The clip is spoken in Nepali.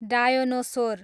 डायोनोसोर